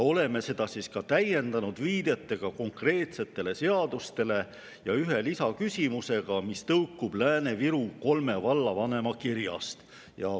Oleme seda täiendanud viidetega konkreetsetele seadustele ja ühe lisaküsimusega, mis tõukub kolme Lääne-Virumaa vallavanema kirjast.